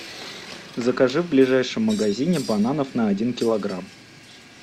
закажи в ближайшем магазине бананов на один килограмм